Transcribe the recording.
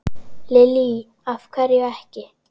Lillý: Af hverju ekki?